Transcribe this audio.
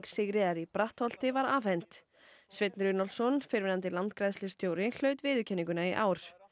Sigríðar í Brattholti var afhent Sveinn Runólfsson fyrrverandi landgræðslustjóri hlaut viðurkenninguna í ár